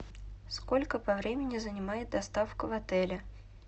сколько по времени занимает доставка в отеле